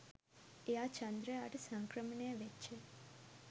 එයා චන්ද්‍රයාට සංක්‍රමණය වෙච්ච